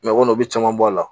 o kɔni o bɛ caman bɔ a la